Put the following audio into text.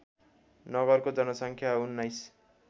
नगरको जनसङ्ख्या १९